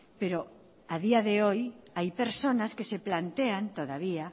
pero a día de hoy hay personas que se plantean todavía